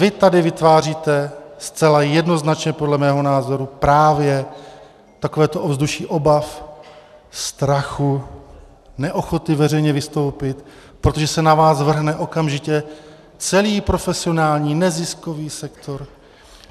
Vy tady vytváříte zcela jednoznačně podle mého názoru právě takovéto ovzduší obav, strachu, neochotu veřejně vystoupit, protože se na vás vrhne okamžitě celý profesionální neziskový sektor.